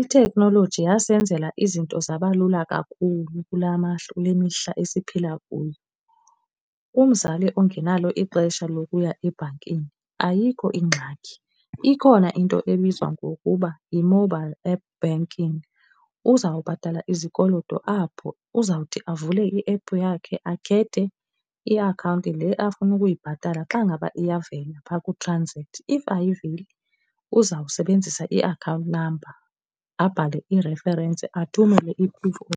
Itekhnoloji yasenzela izinto zaba lula kakhulu kula mihla maxesha kule mihla esiphila kuyo. Umzali ongenalo ixesha lokuya ebhankini ayikho ingxaki. Ikhona into ebizwa ngokuba yi-mobile app banking. Uzawubhatala izikoloto apho, uzawuthi avule iephu yakhe, akhethe iakhawunti le afuna ukuyibhatala. Xa ngaba iyavela pha ku-transact, if ayiveli uzawusebenzisa iakhawunti number, abhale i-reference athumele i-proof of